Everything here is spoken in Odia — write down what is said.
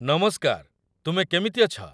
ନମସ୍କାର ତୁମେ କେମିତି ଅଛ